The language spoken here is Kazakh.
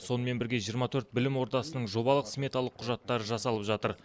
сонымен бірге жиырма төрт білім ордасының жобалық сметалық құжаттары жасалып жатыр